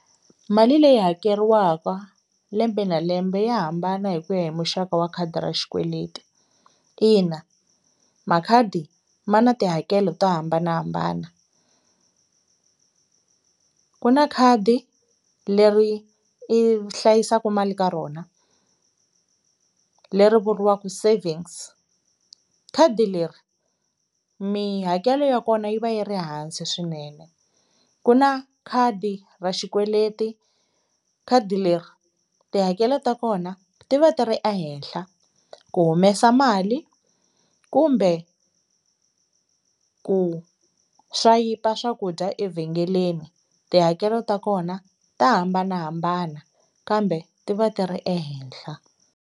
Mali leyi hakeriwaka lembe na lembe ya hambana hi ku ya hi muxaka wa khadi ra xikweleti, ina makhadi ma na tihakelo to hambanahambana ku na khadi leri i hlayisaku mali ka rona leri vuriwaku savings khadi leri mihakelo ya kona yi va yi ri hansi swinene, ku na khadi ra xikweleti khadi leri tihakelo ta kona ti va ti ri ehenhla ku humesa mali kumbe ku swayipa swakudya evhengeleni tihakelo ta kona ta hambanahambana kambe ti va ti ri ehenhla.